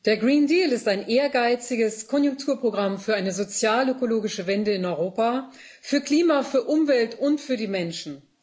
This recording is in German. Frau Präsidentin! Der ist ein ehrgeiziges Konjunkturprogramm für eine sozialökologische Wende in Europa für Klima, für Umwelt und für die Menschen.